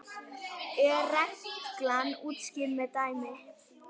er reglan útskýrð með dæmi